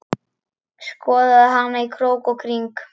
Skoðaði hana í krók og kring.